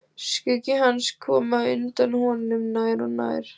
Skuggi hans kom á undan honum, nær og nær.